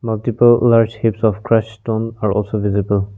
shapes of crust on also visible.